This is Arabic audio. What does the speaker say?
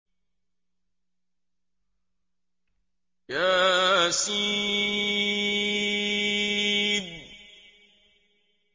يس